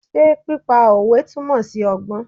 Ṣé pípa òwe túmọ̀ sí ọgbọ́n?